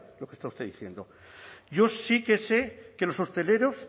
lo que está usted diciendo yo sí que sé que los hosteleros